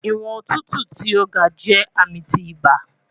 Iwọn otutu ti o ga jẹ ami ti iba